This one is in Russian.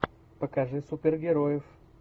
покажи супергероев